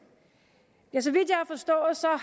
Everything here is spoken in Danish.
så